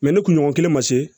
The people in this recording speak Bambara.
ne kunɲɔgɔn kelen ma se